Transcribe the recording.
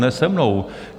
Ne se mnou!